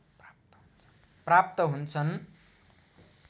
प्राप्त हुन्छन्